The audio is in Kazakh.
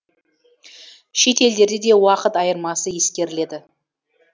шет елдерде де уақыт айырмасы ескеріледі